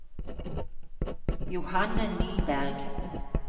Johanne Nyberg